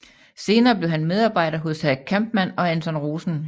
Senere blev han medarbejder hos Hack Kampmann og Anton Rosen